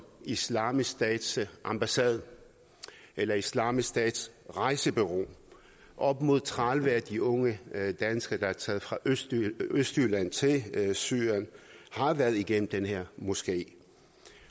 islamisk stats ambassade eller islamisk stats rejsebureau op mod tredive af de unge danskere der er taget fra østjylland østjylland til syrien har været igennem den her moské